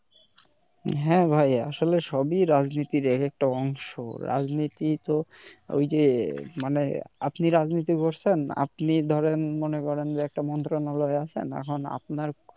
হ্যাঁ ভাই আসলে সবি রাজনীতির এক একটা অংশ রাজনীতি তো ওই যে মানে আপনি রাজনীতি করছেন আপনি ধরেন মনে করেন যে একটা মন্ত্রণালয় এ আছেন এখন আপনার